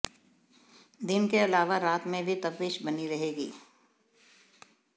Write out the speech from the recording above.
दिन के अलावा रात में भी तपिश बनी रहेगी